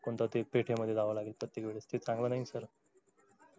कोणत्या ते पेठ मध्ये जावं लागेल प्रत्येक वेळीस ते चांगलं नाही ना sir